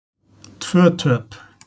Tvö töp.